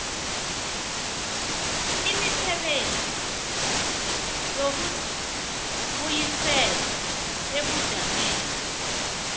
imisebenzi yokubuyisela ebujameni